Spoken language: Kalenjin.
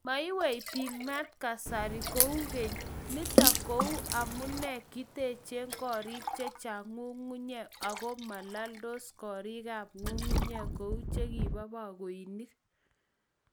Meiweipik maat kasari kou kenym nitok ko amu kitechee korik chechang' ng'ung'unyek ago malaldos korik ap ng'ung'unyek kou chekibo pakoinik.